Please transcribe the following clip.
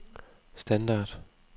standard